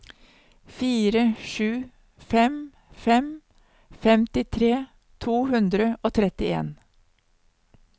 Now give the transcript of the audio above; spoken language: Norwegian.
fire sju fem fem femtitre to hundre og trettien